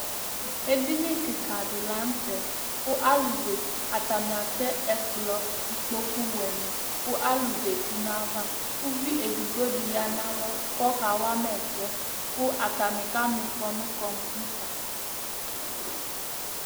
Ɛdini kìka di la ntɛ kʋ alu zɛti Atani atɛ ɛkplɔ, ikpoku wɛ ni kʋ alu zɛti nʋ ava Ʋvi ɛdigbo di ya nʋ alɔ kʋ ɔka wama ɛsɛ kʋ atani kama ifɔ nʋ kɔmpiter